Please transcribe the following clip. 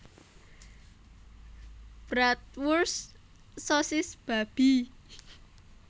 Bratwurst sosis babi